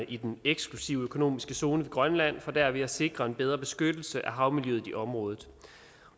i den eksklusive økonomiske zone ved grønland for derved at sikre en bedre beskyttelse af havmiljøet i området